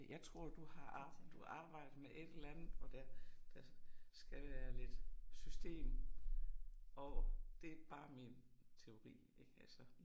Jeg tror du har arbejdet, du arbejder med et eller andet, hvor der der skal være lidt system over, det bare min teori ik altså